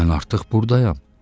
Mən artıq burdayam.